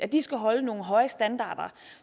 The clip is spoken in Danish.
de skal holde nogle høje standarder